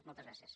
moltes gràcies